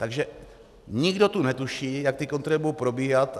Takže nikdo tu netuší, jak ty kontroly budou probíhat.